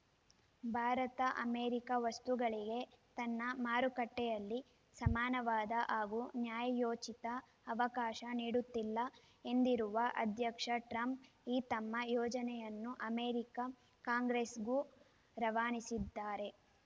Bharat America ವಸ್ತುಗಳಿಗೆ ತನ್ನ ಮಾರುಕಟ್ಟೆಯಲ್ಲಿ ಸಮಾನವಾದ ಹಾಗೂ ನ್ಯಾಯಯೋಚಿತ ಅವಕಾಶ ನೀಡುತ್ತಿಲ್ಲ ಎಂದಿರುವ ಅಧ್ಯಕ್ಷ ಟ್ರಂಪ್ ಈ ತಮ್ಮ ಯೋಜನೆಯನ್ನು ಅಮೇರಿಕ ಕಾಂಗ್ರೆಸ್‌ಗೂ ರವಾನಿಸಿದ್ದಾರೆ